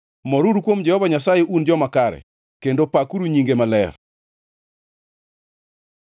Moruru kuom Jehova Nyasaye un joma kare, kendo pakuru nyinge maler.